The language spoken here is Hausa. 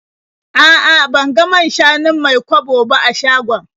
A'a, ban ga man-shanun Mai-kwabo ba a shagon.